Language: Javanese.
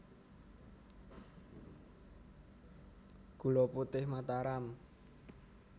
Gula Putih Mataram